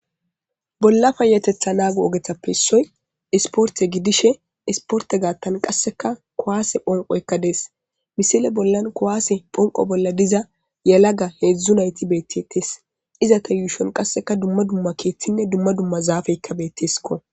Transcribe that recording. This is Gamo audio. Bolla fayatetha naagu ogetappe issoy isporte gidishe isporte gaattan qasseka kowaase phonqoykka dees misile bollan kowaase phonqo bolla diza yalaga heedzdzu nayti beettites izata yuushon qasseka dumma dumma keeththinne dumma dumma zaafeykka betteskko.